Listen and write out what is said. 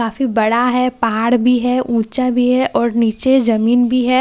काफी बड़ा है पहाड़ भी है ऊंचा भी है और नीचे जमीन भी है मिट्टी--